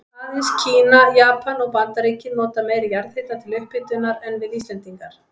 Aðeins Kína, Japan og Bandaríkin nota meiri jarðhita til upphitunar en við Íslendingar.